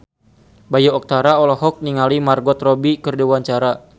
Bayu Octara olohok ningali Margot Robbie keur diwawancara